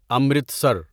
Amritsar